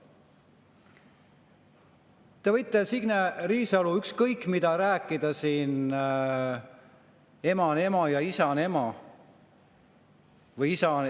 Te võite, Signe Riisalo, ükskõik mida rääkida siin, et ema on ema ja isa on ema või isa …